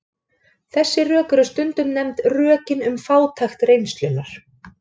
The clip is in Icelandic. Þessi rök eru stundum nefnd rökin um fátækt reynslunnar.